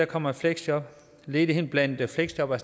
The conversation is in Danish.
kommer i fleksjob ledigheden blandt fleksjobbere